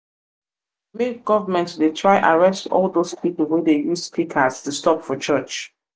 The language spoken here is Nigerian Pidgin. make govament dey try arrest all dose pipol wey dey um use speakers disturb for church um